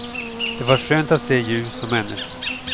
Det var skönt att se ljus, och människor.